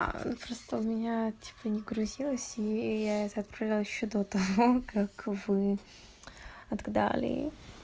просто у меня типа не грузилось и я это отправляла ещё до того как вы отгадали